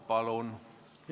Palun!